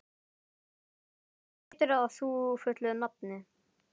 Garðar, hvað heitir þú fullu nafni?